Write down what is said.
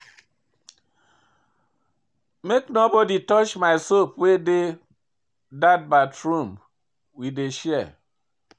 Make nobodi touch my soap wey dey dat bathroom we dey share.